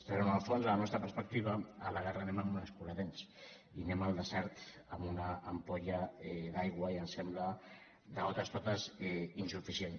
però en el fons de la nostra perspectiva a la guerra anem amb un escuradents i anem al desert amb una ampolla d’aigua i ens sembla de totes totes insuficient